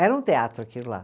Era um teatro aquilo lá.